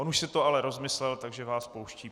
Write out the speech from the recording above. On už si to ale rozmyslel, takže vás pouští.